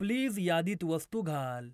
Please यादीत वस्तू घाल.